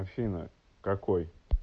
афина какой